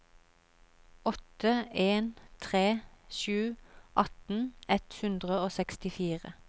åtte en tre sju atten ett hundre og sekstifire